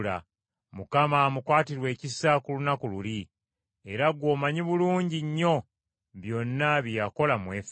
Mukama amukwatirwe ekisa ku lunaku luli. Era gw’omanyi bulungi nnyo byonna bye yakola mu Efeso.